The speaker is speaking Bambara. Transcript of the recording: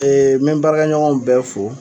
Ee me n baarakɛ ɲɔgɔnw bɛ fo.